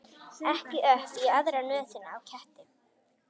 Ekki upp í aðra nösina á ketti.